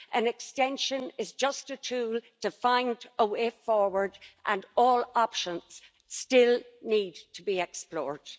An extension is just a tool to find a way forward and all options still need to be explored.